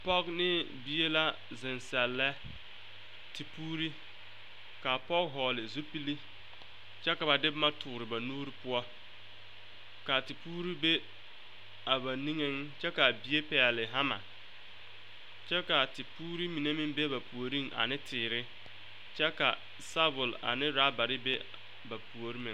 Pɔge ne bie la zeŋ sɛlɛ te poore ka a pɔge vɔgle zupili kyɛ ka ba de boma tɔɔre ba nuuri poɔ ka a tepoore be a ba niŋeŋ kyɛ ka a bie pɛgle hama kyɛ ka a tepoore mine be ba puoriŋ ne teere kyɛ ka sabɔl ane rɔbare be ba puoriŋ meŋ.